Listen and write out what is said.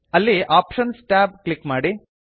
ಅಲ್ಲಿ options tab click ಮಾಡಿ